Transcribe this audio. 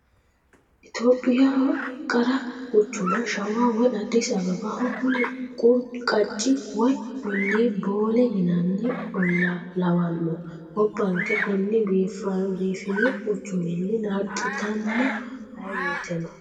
Itophiyaho qarra quchuma shawa woyi Addis Abebbaho kuni qacci woyi olli boole yinanni olla lawano gobbanke koni biifino quchuminni naaxittano ayee woyteno.